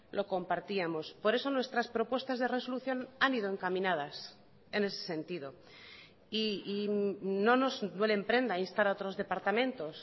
lo compartíamos por eso nuestras propuestas de resolución han ido encaminadas en ese sentido y no nos duele en prenda a instar a otros departamentos